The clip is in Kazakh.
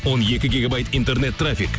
он екі гегабайт интернет трафик